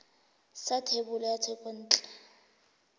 sa thebolo ya thekontle ya